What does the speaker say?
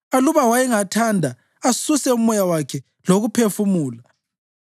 Aluba wayengathanda asuse umoya wakhe lokuphefumula,